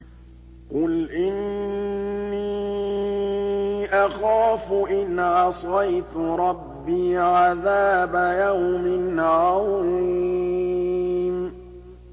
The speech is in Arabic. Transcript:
قُلْ إِنِّي أَخَافُ إِنْ عَصَيْتُ رَبِّي عَذَابَ يَوْمٍ عَظِيمٍ